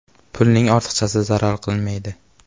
Pulning ortiqchasi zarar qilmaydi.